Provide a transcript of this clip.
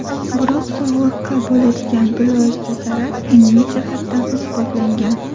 Biroq, sog‘liqqa bo‘ladigan bilvosita zarar ilmiy jihatdan isbotlangan.